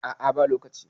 a a ba lokaci